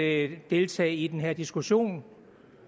at deltage i den her diskussion